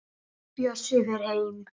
Bjössi fer heim.